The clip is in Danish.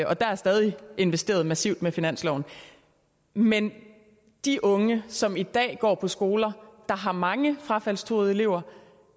og der er stadig investeret massivt med finansloven men de unge som i dag går på skoler der har mange frafaldstruede elever